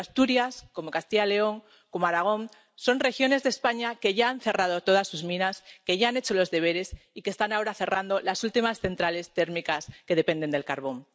Pero tanto Asturias como Castilla y León, como Aragón, son regiones de España que ya han cerrado todas sus minas, que ya han hecho los deberes y que están ahora cerrando las últimas centrales térmicas que dependen del carbón.